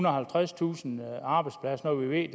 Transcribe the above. og halvtredstusind arbejdspladser når vi ved